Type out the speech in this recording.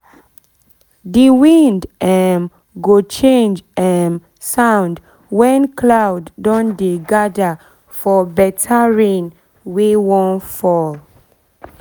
the wind um go change um sound when cloud don dey gather for better rain wey wan fall